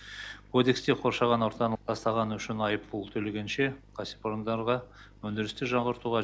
кодексте қоршаған ортаны ластағаны үшін айыппұл төлегенше кәсіпорындарға өндірісті жаңғыртуға